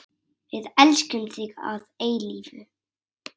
Við elskum þig að eilífu.